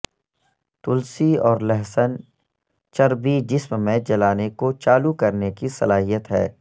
تلسی اور لہسن چربی جسم میں جلانے کو چالو کرنے کی صلاحیت ہے